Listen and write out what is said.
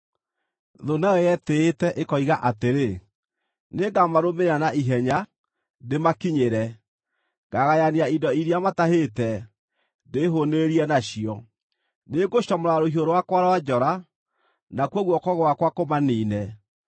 “Thũ nayo yetĩĩte, ĩkoiga atĩrĩ, ‘Nĩngamarũmĩrĩra na ihenya, ndĩmakinyĩre. Ngagayania indo iria matahĩte, ndĩĩhũũnĩrĩrie nacio. Nĩngũcomora rũhiũ rwakwa rwa njora, nakuo guoko gwakwa kũmaniine.’